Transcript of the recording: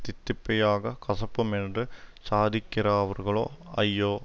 தித்திப்பையாக கசப்புமென்று சாதிக்கிறவர்களோ ஐயோ